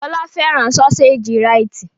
Fọlá fẹ́ràn sọ́séjì Rite.